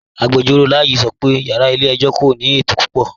Agbẹjọro Layi sọ́ pẹ̀ yàrá ilẹ̀-ẹ̀jọ̀ kò ní ètò púpọ̀.